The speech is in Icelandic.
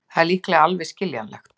Það er líka alveg skiljanlegt.